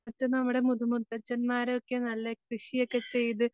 ത്ത് നമ്മുടെ മുതുമുത്തച്ഛൻ മാരൊക്കെ നല്ല കൃഷി ഒക്കെ ചെയ്ത്